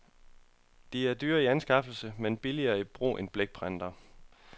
De er dyre i anskaffelse, men billigere i brug end blækprinterne.